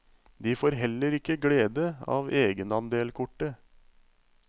De får heller ikke glede av egenandelkortet.